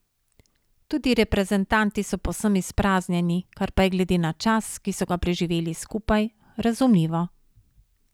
Tudi reprezentanti so povsem izpraznjeni, kar pa je glede na čas, ki so ga preživeli skupaj, razumljivo.